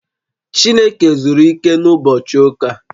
Chineke zuru ike na ụbochị ụka